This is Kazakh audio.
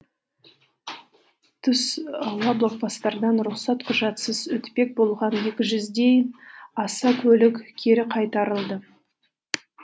түс ауа блокпостардан рұқсат құжатсыз өтпек болған аса көлік кері қайтарылды